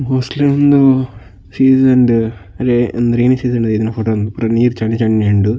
Mostly ಉಂದು season ಡು ರೇ ರೈನಿ ಸೀಸನ್ ಡು ದೈದಿನ ಫೊಟೊ ಉಂದು ಪೂರ ನೀರ್ ಚಂಡಿ ಚಂಡಿ ಉಂಡು.